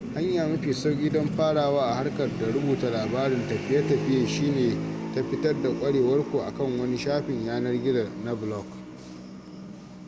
hanya mafi sauki don farawa a harkar da rubuta labarin tafiye-tafiiye shi ne ta fitar da kwarewar ku akan wani shafin yanar-gizo na blog